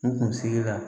N kun sigi la